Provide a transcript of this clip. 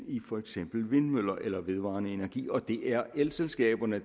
i for eksempel vindmøller eller vedvarende energi og det er elselskaberne